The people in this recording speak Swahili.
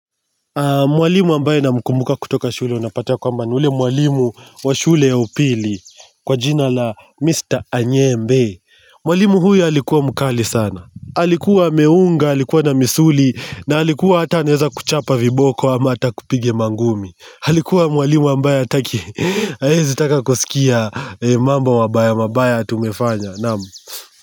Mwalimu ambaye namkumbuka kutoka shule, unapata kwamba ni yule mwalimu wa shule ya upili, kwa jina la Mr. Anyembe, mwalimu huyo alikuwa mkali sana, alikuwa ameunga, alikuwa na misuli, na alikuwa hata anaeza kuchapa viboko ama hata akupige mangumi, alikuwa mwalimu ambaye hataki, haezi taka kusikia mambo mabaya, mabaya tumefanya, naam.